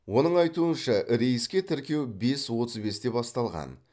оның айтуынша рейске тіркеу бес отыз бесте басталған